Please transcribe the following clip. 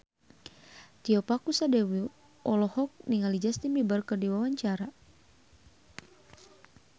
Tio Pakusadewo olohok ningali Justin Beiber keur diwawancara